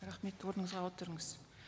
рахмет орныңызға отырыңыз